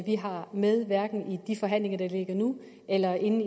vi har med hverken i de forhandlinger der ligger nu eller inden